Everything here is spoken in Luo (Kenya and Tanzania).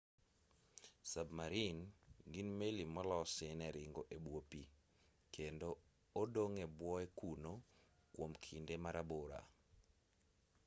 sabmarin gin meli molosi ne ringo e bwo pi kendo odong' e bwoe kuno kuom kinde marabora